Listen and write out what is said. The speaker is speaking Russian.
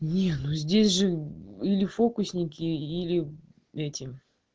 не ну здесь же или фокусники или этим